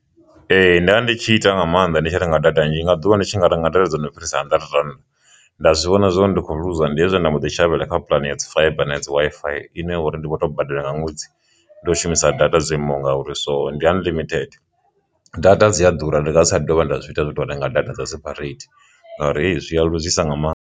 Ee, nda ndi tshi ita nga maanḓa ndi tshi renga data nnzhi nga ḓuvha ndi tshi ngari nga nḓila dzo no fhirisa hundred rand, nda zwi vhona zwori ndi kho luza ndi hezwo nda mbo ḓi shavhela kha puḽane ya dzi fiber na dzi Wi-Fi ine uri ndi tou badela nga ṅwedzi ndo shumisa data dzo imaho ngauri so ndi unlimited. Data dzi a ḓura ndi nga dza dovha nda zwi ita zwo to renga data dza seperate ngauri hei zwi a luzisa nga maanḓa.